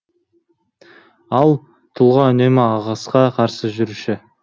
ал тұлға үнемі ағысқа қарсы жүруші